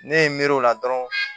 Ne ye n miiri o la dɔrɔn